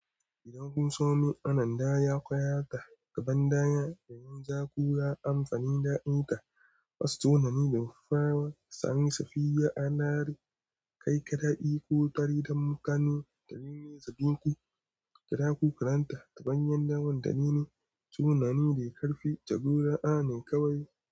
Idan kun sami ananda, ya kwayata gaban dayan da yin ja-kura amfani da aika wasu sunani don fara sani, safiya, anari, kai kaɗai ko tari don mukane da rini zaɓin ku. Kiɗa ku karanta taɓanyan daman da rini, sunani da ƙarfi jagora a ne kawai.